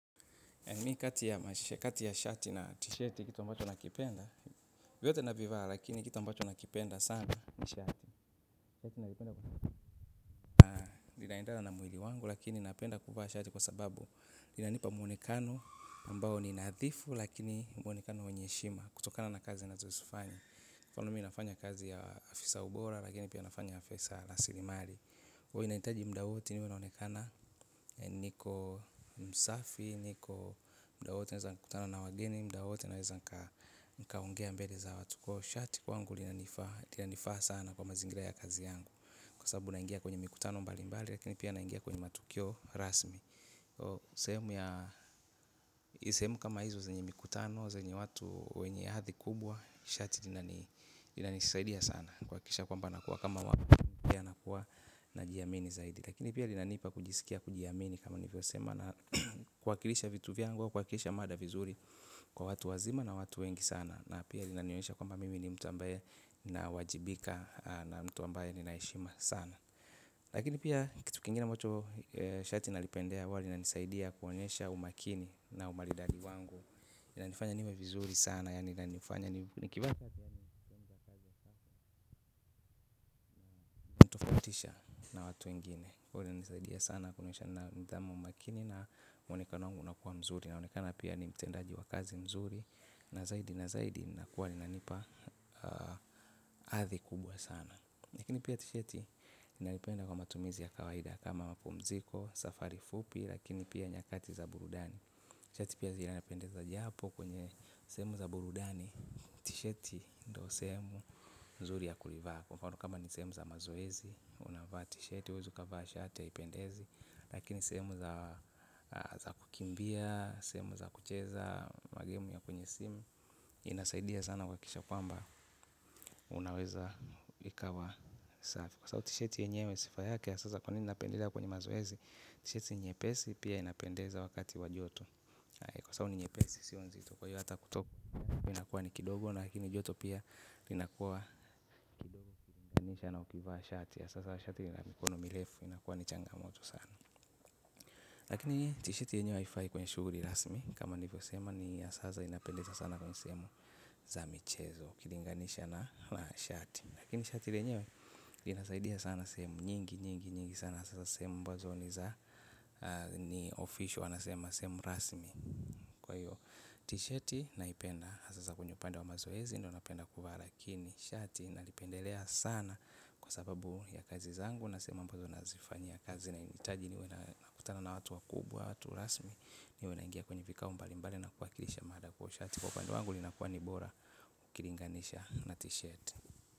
Mi kati ya shati na t-shati kitu ambacho nakipenda, vyote navivaa lakini kitu ambacho nakipenda sana. Ni shati inaendana na mwili wangu lakini napenda kuvaa shati kwa sababu inanipa mwonekano ambao ni nadhifu lakini mwonekano wa heshima kutokana na kazi nazozifanya kwani mimi nafanyana kazi ya afisaa bora lakini pia nafanya Afisa La Silimari huwa inahitaji muda woti niwe naonekana. Niko msafi, niko muda wowote naweza kutana na wageni muda wowote naweza kaa nikaongea mbele za watu kwa hivyo shati kwangu linanifa sana kwa mazingira ya kazi yangu kwa sababu naingia kwenye mikutano mbalimbali lakini pia naingia kwenye matukio rasmi sehemu kama hizo zenye mikutano zenyi watu wenye hadhi kubwa shati lina ni linanisaidia sana kuhakikisha kwamba nakuwa kama watu pia nakua najiamini zaidi lakini pia linanipa kujisikia kujiamini kama nivyo sema na kuwakilisha vitu vyaangu au kwakilisha mada vizuri kwa watu wazima na watu wengi sana na pia lina nionisha kwamba mimi ni mtu ambaye na wajibika na mtu ambaye ninaheshima sana lakini pia kitu kingine amacho shati nalipendea huwalinisaidia kuonyesha umakini na umaridali wangu linanifanya niwe vizuri sana yani na nifanya unanitafautisha na watu wengine huwalinisaidia sana kuonyesha nidhamu umakini na mwonekano wangu unakuwa mzuri na unekana pia ni mtendaji wa kazi mzuri na zaidi na zaidi na kuwa linanipa athi kubwa sana lakini pia tisheti inalipenda kwa matumizi ya kawaida kama wapumziko, safari fupi lakini pia nyakati za burudani tisheti pia zinipendeza japo kwenye semu za burudani tisheti ndo sehemu nzuri ya kulivaa mfano kama ni semu za mazoezi unavaa tisheti, huwezi vaa shati haipendezi lakini semu za kukimbia semu za kucheza magimu ya kwenye simu. Inasaidia sana kuhakikisha kwamba unaweza ikawa safi kwa sababu t-shiti yenyewe sifa yake ya sasa kwanini inapendeza kwenye mazoezi. T-shiti ni nyepesi pia inapendeza wakati wa joto. Kwa sababu ni nyepesi siyo nzito kwa hiyo hata kutoku inakuwa ni kidogo lakini joto pia inakuwa mchana ukivaa shati. Ya sasa shati inamikono mirefu inakuwa ni changamoto sana lakini t-shirt yenyewe haifai kwenye shughuli rasmi kama niivyosema inafurahisha sana kwenye sehemu za michezo ukilinganisha na kuvaa shati lakini shati lenyewe linasaidia sana sehemu nyingi nyingi nyingi sana hasa sehemu ambazo ni za official wanasema sehemu rasmi. Kwa hiyo t-shirt naipenda hasa sasa kwenye upande wa mazoezi. Ndo napenda kuvaa lakini shati nalipendelea sana. Kwa sababu ya kazi zangu nasema ambazo nazifanya kazi na hinitaji niwe na kutana na watu wakubwa. Watu rasmi ni wena naingia kwenye vikao mbalimbali. Na kuhakilisha mada kwa shati. Kwa upandu wangu linakuwa ni bora ukilinganisha na t-shirt.